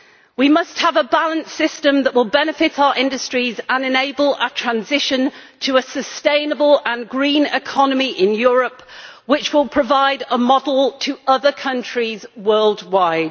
We must have a balanced system that will benefit our industries and enable a transition to a sustainable and green economy in Europe, which will provide a model for other countries worldwide.